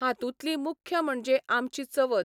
हातुंतली मुख्य म्हणजे आमची चवथ.